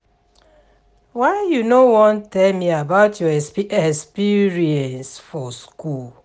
why you no wan tell me about your experience for school